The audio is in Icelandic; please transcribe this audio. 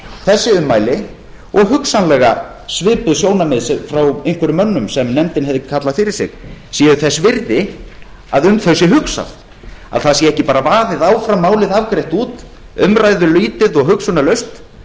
þessi ummæli og hugsanlega svipuð sjónarmið frá einhverjum mönnum sem nefndin hefði kallað fyrir sig séu þess virði að um þau sé hugsað að ekki sé bara vaðið áfram málið afgreitt út umræðulítið og hugsunarlaust